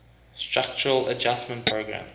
structural adjustment program